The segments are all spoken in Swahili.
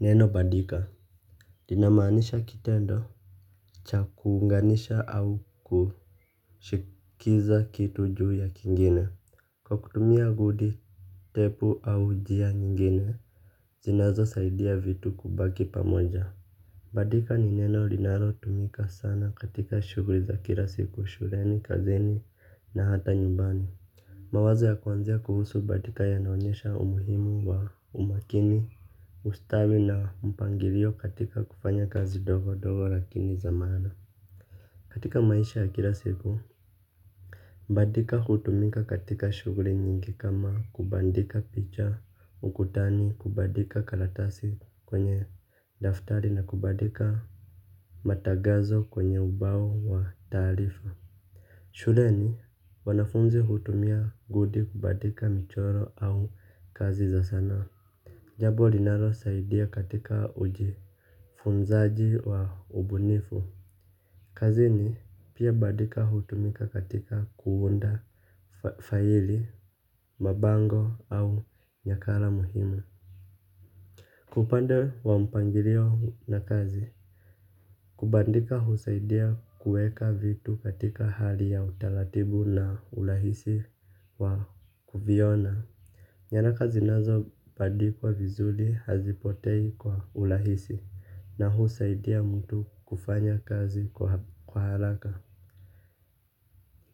Neno bandika linamaanisha kitendo chakuunganisha au kushikiza kitu juu ya kingine. Kwa kutumia gudi Tepu au njia nyingine zinazo saidia vitu kubaki pamoja. Bandika ni neno linalo tumika sana katika shughuli za kila siku shuleni kazini na hata nyumbani. Mawazo ya kwanzia kuhusu bandika ya naonyesha umuhimu wa umakini, ustawi na mpangilio katika kufanya kazi ndogo ndogo lakini zamaana. Katika maisha ya kila siku, bandika hutumika katika shughuli nyingi kama kubandika picha, ukutani, kubandika karatasi kwenye daftari na kubandika matangazo kwenye ubao wa taarifa. Shule ni wanafunzi hutumia gudi kubandika michoro au kazi za sanaa. Jambo linalo saidia katika uji funzaji wa ubunifu. Kazini pia bandika hutumika katika kuunda faili, mabango au nyakala muhimu. Kwaupande wa mpangilio na kazi. Kubandika husaidia kuweka vitu katika hali ya utaratibu na urahisi wa kuviona. Nyara kazi nazo bandi kwa vizuri hazipotei kwa urahisi na husaidia mtu kufanya kazi kwa haraka.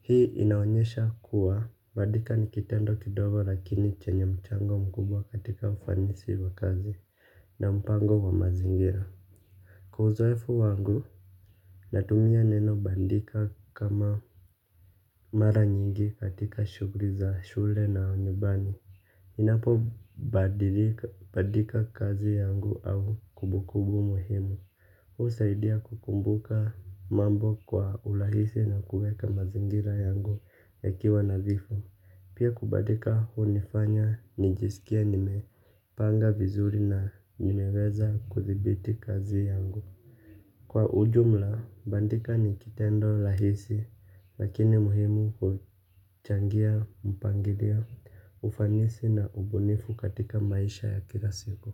Hii inaonyesha kuwa bandika nikitendo kidogo lakini chenye mchango mkubwa katika ufanisi wa kazi na mpango wa mazingira. Kwa uzoefu wangu, natumia neno bandika kama mara nyingi katika shughuli za shule na nyumbani ninapo bandika kazi yangu au kumbukumbu muhimu husaidia kukumbuka mambo kwa urahisi na kuweka mazingira yangu ya kiwa nadhifu. Pia kubandika hunifanya nijisikie nime panga vizuri na nimeweza kudhibiti kazi yangu. Kwa ujumla, bandika ni kitendo rahisi lakini muhimu huchangia mpangilio ufanisi na ubunifu katika maisha ya kila siku.